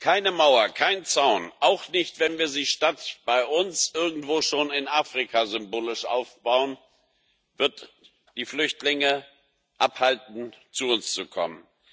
Keine Mauer, kein Zaun, auch nicht, wenn wir sie statt bei uns irgendwo schon in Afrika symbolisch aufbauen, wird die Flüchtlinge davon abhalten, zu uns zu kommen.